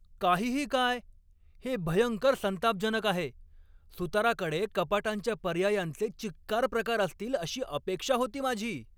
काहीही काय? हे भयंकर संतापजनक आहे! सुताराकडे कपाटांच्या पर्यायांचे चिक्कार प्रकार असतील अशी अपेक्षा होती माझी.